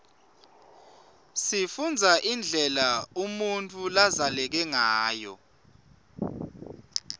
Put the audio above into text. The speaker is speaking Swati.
sifunbza indlela unutfu labzaleke ngayo